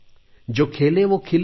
जो खेले वो खिले